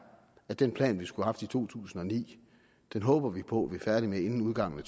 at den plan man skulle have haft i to tusind og ni håber man på man er færdig med inden udgangen af